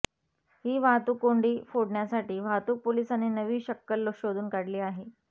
ही वाहतूक कोंडी फोडण्यासाठी वाहतूक पोलिसांनी नवी शक्कल शोधून काढली आहे